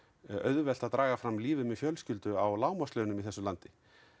auðvelt að draga fram lífið með fjölskyldu á lágmarkslaunum í þessu landi